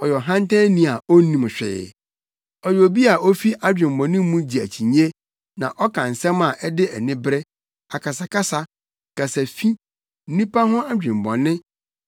yɛ ɔhantanni a onnim hwee. Ɔyɛ obi a ofi adwemmɔne mu gye akyinnye na ɔka nsɛm a ɛde anibere, akasakasa, kasafi, nnipa ho adwemmɔne